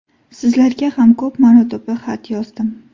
Sizlarga ham ko‘p marotaba xat yozdim.